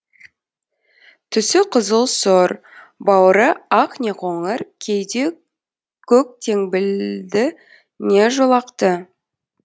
түсі қызыл сұр бауыры ақ не қоңыр кейде көк теңбілді не жолақты